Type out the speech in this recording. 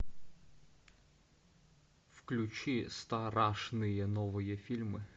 включи страшные новые фильмы